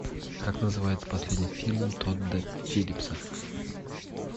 как называется последний фильм тодда филлипса